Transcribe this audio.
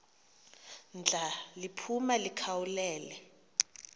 ndla liphuma likhawulele